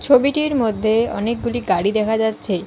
ছবিটির মধ্যে অনেকগুলি গাড়ি দেখা যাচ্ছে।